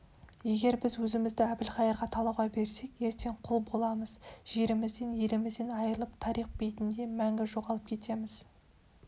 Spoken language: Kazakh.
егер біз өзімізді әбілқайырға талауға берсек ертең құл боламыз жерімізден елімізден айрылып тарих бетінде мәңгі жоғалып кетеміз